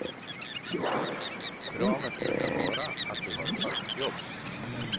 Kravet brukar vara att du har fast jobb.